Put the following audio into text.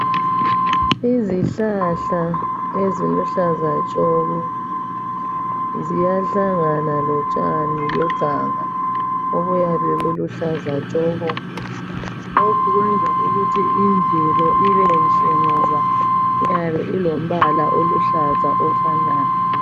Izihlahla eziluhlaza tshoko ziyahlangana lotshani beganga obuyabe buluhlaza tshoko. Lokhu kwenza ukuthi imvelo ibenhle ngoba iyabe ilombala oluhlaza ofanayo.